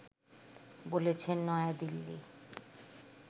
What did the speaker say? বলেছে নয়াদিল্লি